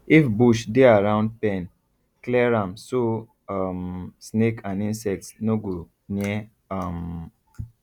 if bush dey around pen clear am so um snake and insects no go near um